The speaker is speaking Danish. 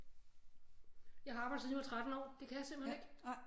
Jeg har arbejdet siden jeg var 13 år det kan jeg simpelthen ikke